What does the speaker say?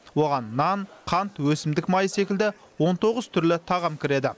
оған нан қант өсімдік майы секілді он тоғыз түрлі тағам кіреді